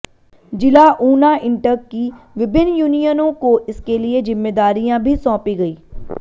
जिला ऊना इंटक की विभिन्न यूनियनों को इसके लिए जिम्मेदारियां भी सौंपी गईं